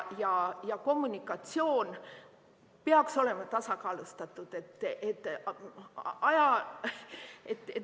Ja kommunikatsioon peaks olema tasakaalustatud.